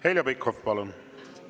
Heljo Pikhof, palun!